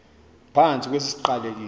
phantsi kwesi siqalekiso